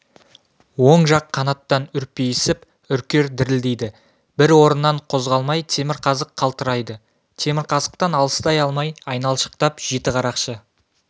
оң жақ қанаттан үрпиісіп үркер дірілдейді бір орыннан қозғалмай темірқазық қалтырайды темірқазықтан алыстай алмай айналшықтап жетіқарақшы